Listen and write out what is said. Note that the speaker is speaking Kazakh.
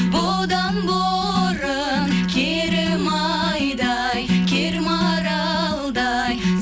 бұдан бұрын керім айдай кер маралдай